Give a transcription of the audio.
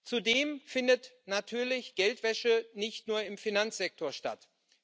Zudem findet natürlich Geldwäsche nicht nur im Finanzsektor statt.